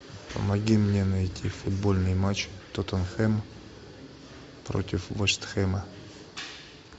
помоги мне найти футбольный матч тоттенхэм против вест хэма